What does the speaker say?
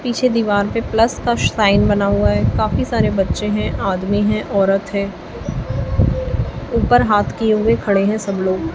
पीछे दीवार पे प्लस का साइन बना हुआ है काफी सारे बच्चे हैं आदमी हैं औरत है ऊपर हाथ किए हुए खड़े हैं सब लोग।